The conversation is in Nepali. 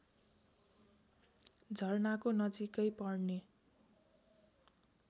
झरनाको नजिकै पर्ने